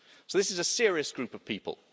So this is a serious group of people.